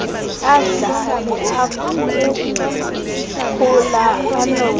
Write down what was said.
adlale akukhula anondle